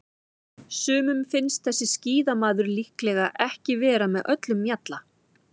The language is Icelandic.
Sumum finnst þessi skíðamaður líklega ekki vera með öllum mjalla.